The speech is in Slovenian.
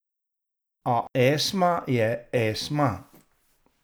A Esma je Esma.